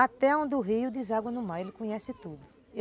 Até onde o rio deságua no mar, ele conhece tudo.